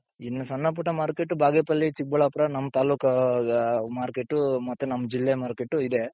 ಇನ್ನು ಸಣ್ಣ ಪುಟ್ಟ market ಬಾಗೇಪಲ್ಲಿ , ಚಿಕ್ಕಬಳ್ಳಾಪುರ , ನಮ್ ತಾಲ್ಲೂಕು market ಮತ್ತೆ ನಮ್ ಜಿಲ್ಲೆ market ಇದೆ.